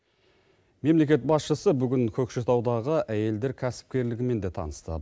мемлекет басшысы бүгін көкшетаудағы әйелдер кәсіпкерлігімен де танысты